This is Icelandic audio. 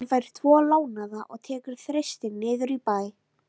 Hann fær tvo lánaða og tekur Þristinn niður í bæ.